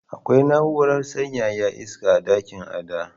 Akwai na’urar sanyaya iska a dakin Ada.